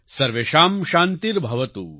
સર્વેષાં શાંતિર્ભવતુ